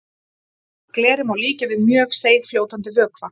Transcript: Gleri má líkja við mjög seigfljótandi vökva.